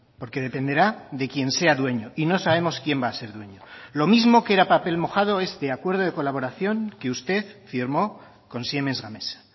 porque dependerá de quien sea dueño y no sabemos quién va a ser dueño lo mismo que era papel mojado este acuerdo de colaboración que usted firmó con siemens gamesa